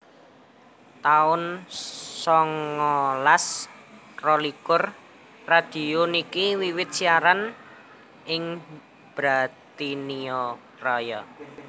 taun songolas rolikur Radio niki wiwit siaran ing Britania Raya